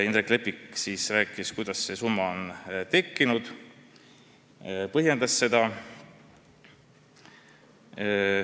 Indrek Leppik rääkis, kuidas see summa on arvutatud, ja põhjendas seda.